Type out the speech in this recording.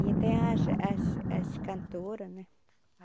E tem as... as... as cantora, né?